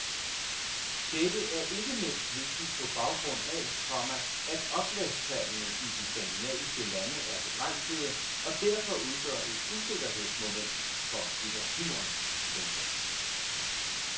Dette er ikke mindst vigtigt på baggrund af, komma at oplagstallene i de skandinaviske lande er begrænsede og derfor udgør et usikkerhedsmoment for litteraturen. punktum